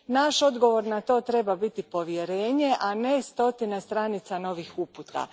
Naš odgovor na to treba biti povjerenje, a ne stotine stranica novih uputa.